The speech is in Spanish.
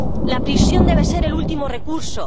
La prisión debe ser el último recurso.